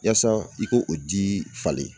Yasa, i k'o o di falen